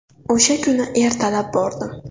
O‘sha kuni ertalab bordim.